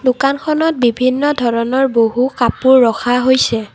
দোকানখনত বিভিন্ন ধৰণৰ বহু কাপোৰ ৰখা হৈছে।